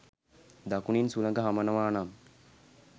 දකුණින් සුළඟ හමනවා නම්